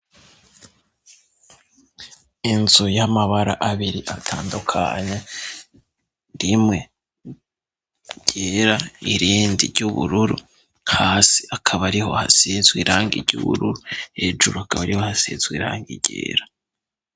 Inzu y'amabara abiri atandukanye rimwe ryera irindi ry'ubururu hasi akaba ariho hasizwe irangi ry'ubururu hejuru akaba ariho hasizwe irangi ryera.